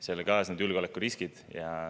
Sellega kaasnevad julgeolekuriskid.